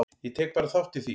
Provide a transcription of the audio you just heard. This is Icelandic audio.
Ég tek bara þátt í því.